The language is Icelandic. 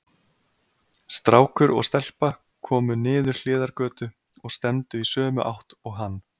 Strákur og stelpa komu niður hliðargötu og stefndu í sömu átt og hann.